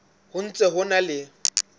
ho ntse ho na le